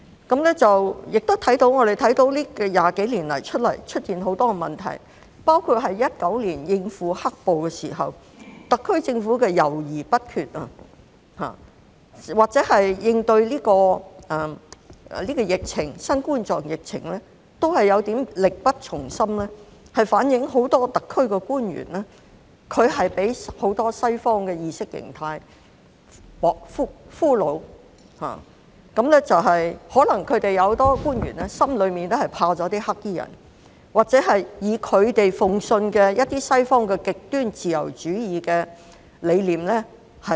我們亦看到這20多年來出現很多問題，包括2019年應付"黑暴"時，特區政府的猶豫不決，或是應對新冠狀病毒疫情都是有點力不從心，反映很多特區官員都被不少西方意識形態所俘虜，很多官員可能在心裏也害怕"黑衣人"，或擁抱他們信奉的一些西方極端自由主義理念。